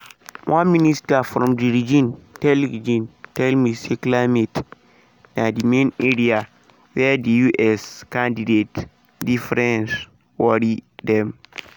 one minister from di region tell region tell me say climate na di main area wia di us candidates differences worry dem.